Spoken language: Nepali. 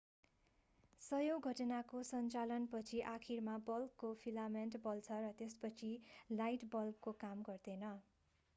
सयौं घण्टाको सञ्चालन पछि आखिरमा बल्बको फिलामेन्ट बल्छ र त्यसपछि लाइट बल्बले काम गर्दैन